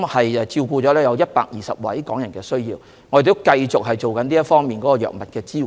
我們照顧了大約120位港人的藥物需要，並會繼續提供這方面的支援。